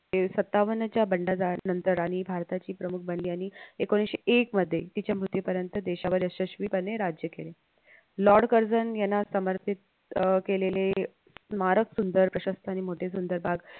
ते सत्तावन्नच्या बन्डजाळानतर आणि भारताची प्रमुख बनली आणि एकोणीशे एक मध्ये तिच्या मृत्यूपर्यंत देशावर यशस्वी पणे राज्य केले. लॉर्ड कर्झेन याना समर्पित अह केलेले स्मारक सुंदर प्रशस्त आणि मोठे सुंदरबाग